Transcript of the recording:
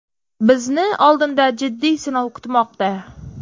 Bizni oldinda jiddiy sinov kutmoqda.